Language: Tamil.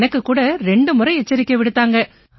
எனக்குக் கூட ரெண்டு முறை எச்சரிக்கை விடுத்தாங்க